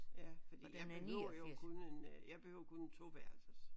Ja fordi jeg behøver jo kun en øh jeg behøver kun en toværelses